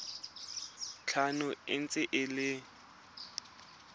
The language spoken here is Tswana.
tlhano e ntse e le